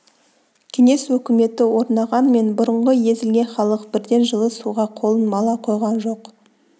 кеңес өкіметі орнағанмен бұрынғы езілген халық бірден жылы суға қолын мала қойған жоқ